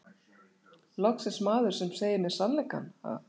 Loksins maður sem segir mér sannleikann, ha?